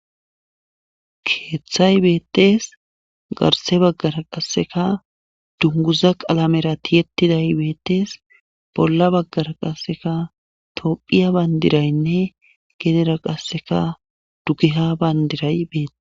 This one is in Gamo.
keeththay beettees garse baggara qasseka dunguza qalamera tiyettiday beettees bolla baggara qasseka tophiya bandiraynne gedera qasseka dugiha bandiray beete